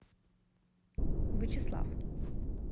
вычеслав